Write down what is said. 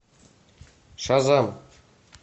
шазам